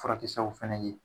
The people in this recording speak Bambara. Furakɛ sbabu fɛnɛ ye